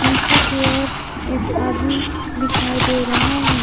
नीचे की ओर एक आदमी दिखाई दे रहा है।